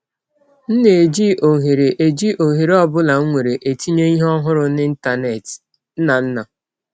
M na - eji ọhere eji ọhere ọ bụla m nwere etinye ihe ọhụrụ n’Ịntanet. ”— Nnanna.